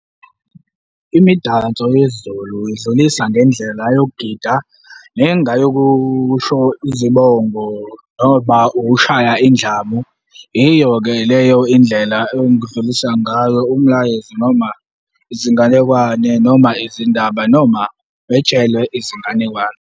Imidanso yesiZulu idlulisa ngendlela yokugida nengayokusho izibongo noma ukushaya indlamu. Iyo-ke leyo indlela engidlulisa ngayo umlayezo noma izinganekwane, noma izindaba, noma wetshelwe izinganekwane.